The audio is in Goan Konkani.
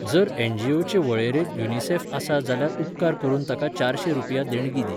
जर एनजीओचे वळेरेंत युनिसेफ आसा जाल्यार उपकार करून ताका चारशें रुपया देणगी दी.